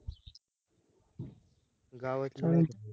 गावाची